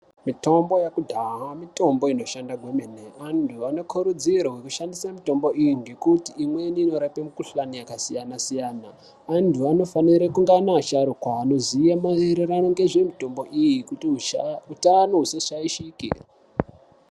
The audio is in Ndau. Mitombo yekudhaya mitombo inoshanda kwemene antu anokurudzirwa kushandisa mitombo iyi ngekuti inorapa mikuhlani yakasiyana siyana anofanira nevasharukwa Anoziva kuwirirana nezvemitombo iyi kuti hutano husashashike.